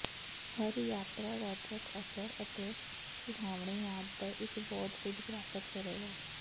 ਹਰ ਯਾਤਰਾ ਰੌਚਕ ਅਸਰ ਅਤੇ ਸੁਹਾਵਣੇ ਯਾਦ ਦਾ ਇਕ ਬਹੁਤ ਕੁਝ ਪ੍ਰਾਪਤ ਕਰੇਗਾ